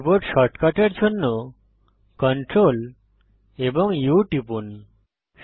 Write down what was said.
keyboard শর্টকাটের জন্য Ctrl এবং U টিপুন